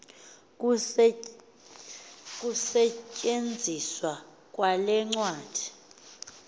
ukusetyenziswa kwale ncwadi